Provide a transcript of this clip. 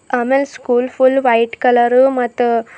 ಆಮೇಲ್ school full white colour ಮತ್ತು--